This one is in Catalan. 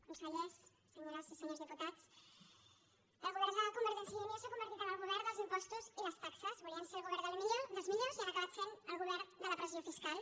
consellers senyores i senyors diputats el govern de convergència i unió s’ha convertit en el govern dels impostos i les taxes volien ser el govern dels millors i han acabat sent el govern de la pressió fiscal